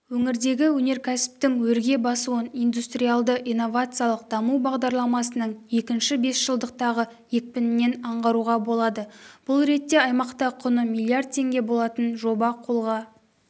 өңірдегі өнеркәсіптің өрге басуын индустриялды-инновациялық даму бағдарламасының екінші бесжылдықтағы екпінінен аңғаруға болады бұл ретте аймақта құны миллиард теңге болатын жоба қолға